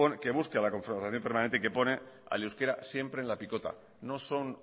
que pone al euskera siempre en la picota no son